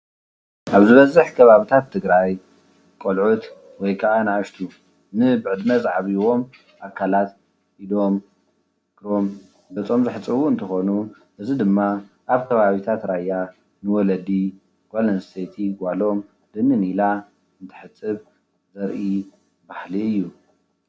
አብ ዝበዝሕ ከባቢታት ትግራይ ቆልዑት ወይ ከዓ አናእሽቲ ንብዕድመ ዝዓብይዎም አካላት ኢዶም፣ እግሮም፣ ገፆም ዘሕፀቡ እንትኾኑ፤ እዚ ድማ አብ ከባቢታት ራያ ንወለዲ ጓል አነስተይቲ ጓሎም ድንን ኢላ እንትተሐፅብ ዘርኢ ባህሊ እዩ፡፡